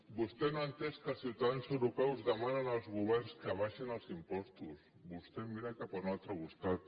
vostè no ha entès que els ciutadans europeus demanen als governs que abaixin els impostos vostè mira cap a un altre costat